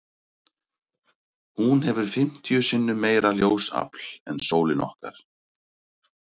Hún hefur fimmtíu sinnum meira ljósafl en sólin okkar.